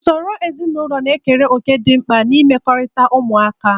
Usoro ezinụlọ na-ekere òkè dị mkpa n'imekọrịta ụmụaka.